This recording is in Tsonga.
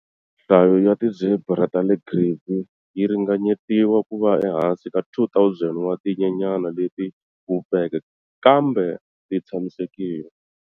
Nhlayo ya ti zebra ta le Grévy yi ringanyetiwa ku va ehansi ka 2 000 wa tinyenyana leti vupfeke, kambe ti tshamisekile.